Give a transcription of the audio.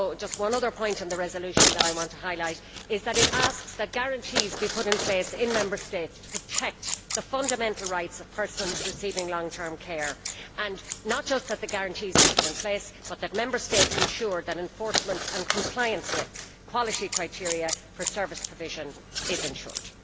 One other point on the resolution that I want to highlight is that it asks that guarantees be put in place in Member States to protect the fundamental rights of persons receiving long term care, and not just that the guarantees be put in place, but that Member States ensure that enforcement and compliance with quality criteria for service provision is ensured.